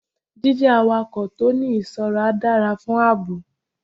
Jí jẹ́ awakọ̀ tó ń ní ìṣọ́ra dára fún ààbò.